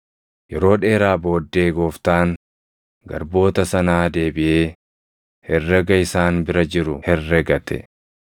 “Yeroo dheeraa booddee gooftaan garboota sanaa deebiʼee herrega isaan bira jiru herregate.